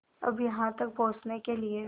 अब यहाँ तक पहुँचने के लिए